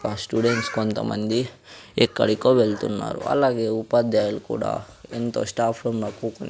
ఆ స్టూడెంట్స్ కొంతమంది ఎక్కడికో వెళ్తున్నారు అలాగే ఉపాధ్యాయులు కూడా ఎంతో స్టాఫ్ రూం లో --